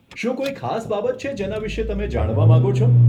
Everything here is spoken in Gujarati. શું કોઈ ખાસ બાબત છે જેના વિશે તમે જાણવા માંગો છો?